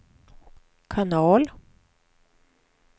kanal